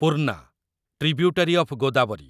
Purna, tributary of Godavari